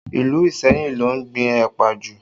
Ìlú Iseyin ló ń gbìn ẹ̀pà jù